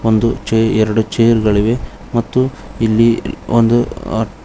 ಒಂದು ಚೈ ಎರಡು ಚೇರ್ ಗಳಿವೆ ಮತ್ತು ಇಲ್ಲಿ ಒಂದು ಆ--